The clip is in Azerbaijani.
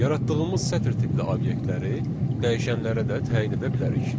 Yaradığımız sətr tipli obyektləri dəyişənlərə də təyin edə bilərik.